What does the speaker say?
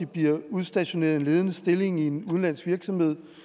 bliver udstationeret i en ledende stilling i en udenlandsk virksomhed